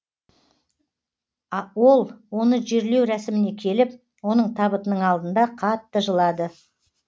ол оны жерлеу рәсіміне келіп оның табытының алдында қатты жылады